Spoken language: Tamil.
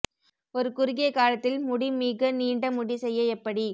ஒரு குறுகிய காலத்தில் முடி மிக நீண்ட முடி செய்ய எப்படி